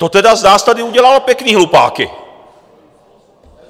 To tedy z nás tady udělal pěkný hlupáky.